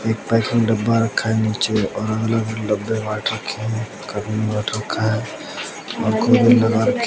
एक पैकेट डब्बा रखा है नीचे और अलग अलग है डब्बे रखे हैं --